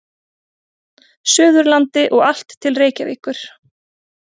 Suðurlandi og allt til Reykjavíkur.